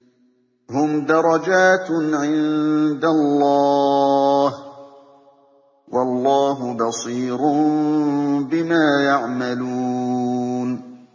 هُمْ دَرَجَاتٌ عِندَ اللَّهِ ۗ وَاللَّهُ بَصِيرٌ بِمَا يَعْمَلُونَ